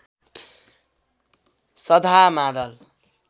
सधा मादल